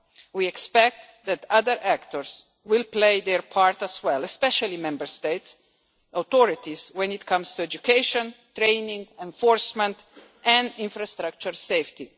We expect that other actors will play their part as well especially Member State authorities when it comes to education, training, enforcement and infrastructure safety.